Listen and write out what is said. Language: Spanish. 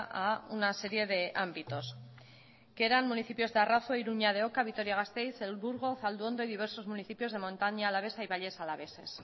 a una serie de ámbitos que eran municipios de arroz iruña de oca vitoria gasteiz el burgo zalduondo y diversos municipios de montaña alavesa y valles alaveses